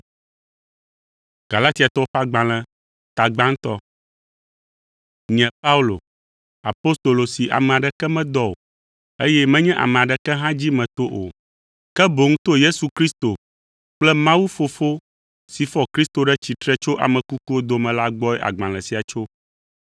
Nye Paulo, apostolo si ame aɖeke medɔ o, eye menye ame aɖeke hã dzi meto o, ke boŋ to Yesu Kristo kple Mawu, Fofo si fɔ Kristo ɖe tsitre tso ame kukuwo dome la gbɔe agbalẽ sia tso.